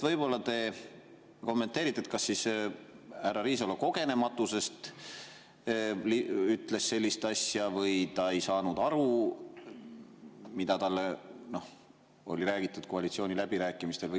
Võib-olla te kommenteerite, kas härra Riisalo kogenematusest ütles sellist asja või ta ei saanud aru, mida talle oli räägitud koalitsiooniläbirääkimistel.